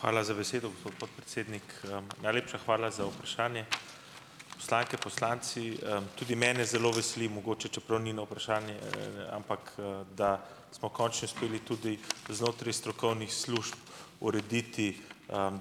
Hvala za besedo, gospod podpredsednik. najlepša hvala za vprašanje. Poslanke, poslanci, tudi mene zelo veseli mogoče - čeprav ni na vprašanje, ampak da smo končno uspeli tudi znotraj strokovnih služb urediti,